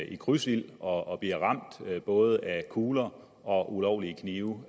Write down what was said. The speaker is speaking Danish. i krydsild og bliver ramt både af kugler og ulovlige knive